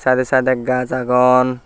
side a side a gaj agon.